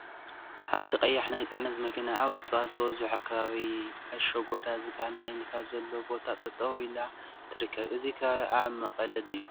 ሓንቲ ቀያሕ ናይ ፅዕነት መኪና አብ እፅዋት ዝበዝሖ ከባቢ አሸጎዳ ዝበሃል ናይ ንፋስ ዘለዎ ቦታ ጠጠወ ኢላ ትርከብ፡፡ እዚ ከባቢ አብ መቀለ ድዩ?